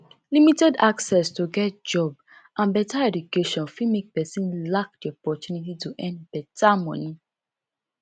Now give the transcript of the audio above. limited access to get job and better education fit make person lack di opportunity to earn better money